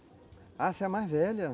Ah, você é a mais velha?